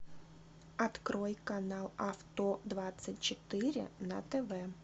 открой канал авто двадцать четыре на тв